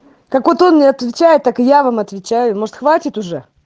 так вот он не отвечает так я вам отвечаю может хватит уже